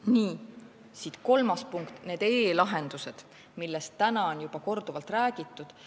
Nii, siit kolmas punkt, need e-lahendused, millest täna on juba korduvalt räägitud.